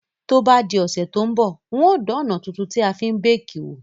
To bá di òsẹ̀ to n bọ̀, n o dan òná tuntun tí a fi n bake wò